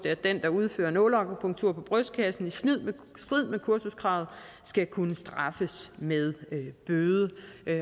at den der udfører nåleakupunktur på brystkassen i strid med kursuskravet skal kunne straffes med bøde